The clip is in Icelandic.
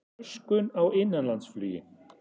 Röskun á innanlandsflugi